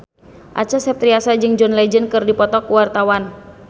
Acha Septriasa jeung John Legend keur dipoto ku wartawan